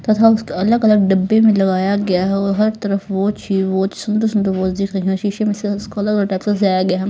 तथा उसको अलग अलग डब्बे में लगाया गया हो हर तरफ वो चीज बहुत सुंदर सुंदर गया है।